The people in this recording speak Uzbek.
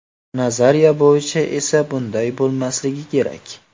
Nazariya bo‘yicha esa bunday bo‘lmasligi kerak.